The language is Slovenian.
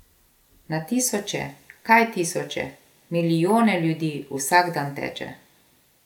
Na tisoče, kaj tisoče, milijone ljudi vsak dan teče.